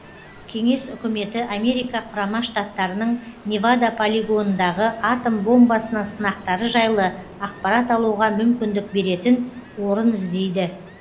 кеңес үкіметі америка құрама штаттарының невада полигонындағы атом бомбасының сынақтары жайлы ақпарат алуға мүмкіндік беретін орын іздейді